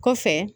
Kɔfɛ